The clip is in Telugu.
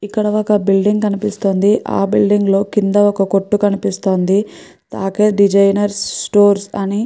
ఇక్కడ ఒక బిల్డింగ్ కనిపిస్తోంది. ఆ బిల్డింగ్ లో కింద ఒక కొట్టు కనిపిస్తోంది. డిసైనర్ స్టోర్ అని --